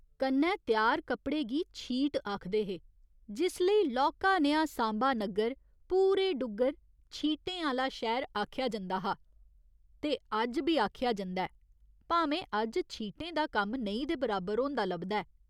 कन्नै त्यार कपड़े गी 'छीट' आखदे हे, जिस लेई लौह्का नेहा सांबा नग्गर पूरे डुग्गर 'छीटें आह्‌ला शैह्‌र' आखेआ जंदा हा ते अज्ज बी आखेआ जंदा ऐ भामें अज्ज छीटें दा कम्म नेईं दे बराबर होंदा लभदा ऐ।